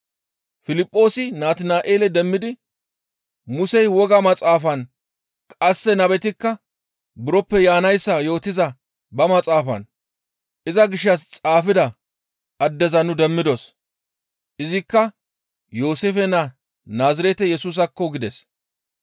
Piliphoosi Natina7eele demmidi, «Musey woga maxaafan qasse nabetikka buroppe hananayssa yootiza ba maxaafatan iza gishshas xaafida addeza nu demmidos. Izikka Yooseefe naa Naazirete Yesusaakko!» gides.